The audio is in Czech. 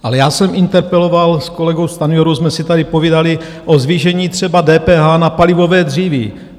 Ale já jsem interpeloval, s kolegou Stanjurou jsme si tady povídali o zvýšení třeba DPH na palivové dříví.